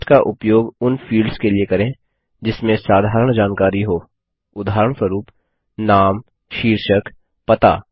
text का उपयोग उन फील्ड्स के लिए करें जिसमें साधारण जानकारी हो उदाहरणस्वरूप नाम शीर्षकपता